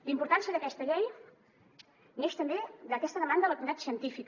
la importància d’aquesta llei neix també d’aquesta demanda de la comunitat científica